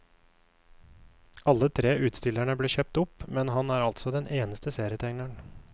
Alle tre utstillerne ble kjøpt opp, men han er altså den eneste serietegneren.